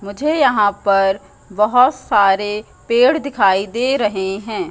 मुझे यहां पर बहोत सारे पेड़ दिखाई दे रहे हैं।